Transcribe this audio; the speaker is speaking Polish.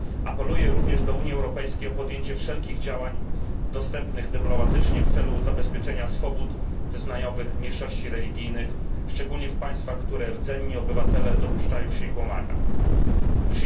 Apeluję również do Unii Europejskiej o podjęcie wszelkich działań dostępnych dyplomatycznie w celu zabezpieczenia swobód wyznaniowych mniejszości religijnych, szczególnie w państwach, w których rdzenni obywatele dopuszczają się łamania tych praw.